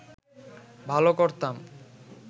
ভাল করতাম